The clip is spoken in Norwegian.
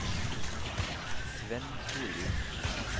Svenn Storvik